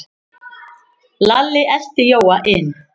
Lalli elti Jóa inn.